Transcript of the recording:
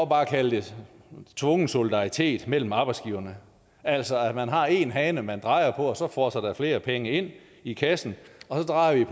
bare kalde det for tvungen solidaritet mellem arbejdsgiverne altså at man har en hane man drejer på og så fosser der flere penge ind i kassen og så drejer